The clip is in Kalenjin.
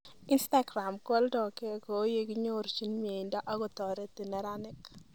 Instagram koaldoke koelekinyorchin mieindo akoyoreti nerenik